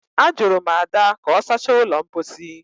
Ajụrụ m Ada ka ọ sachaa ụlọ mposi